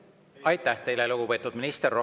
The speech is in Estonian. Aitäh teile, lugupeetud minister!